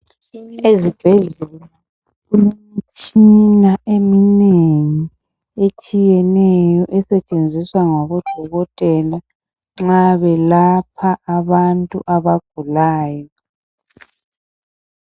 Ezibhedlela kulemitshina eminengi etshiyeneyo esetshenziswa ngabo dokotela nxa belapha abantu abagulayo.